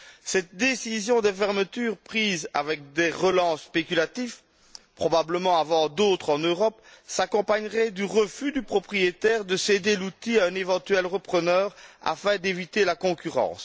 Cette décision de fermeture prise avec des relents spéculatifs, probablement avant d'autres en Europe, s'accompagnerait du refus du propriétaire de céder l'outil à un éventuel repreneur afin d'éviter la concurrence.